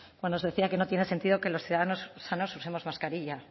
cuando nos decía que no tiene sentido que los ciudadanos sanos usemos mascarilla